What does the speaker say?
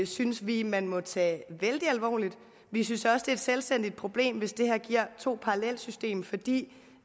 synes vi man må tage vældig alvorligt vi synes også det er et selvstændigt problem hvis det her giver to parallelle systemer fordi